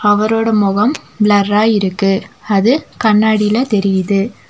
அவரோட முகம் பிளர்ரா இருக்கு அது கண்ணாடில தெரியுது.